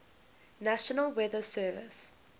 national weather service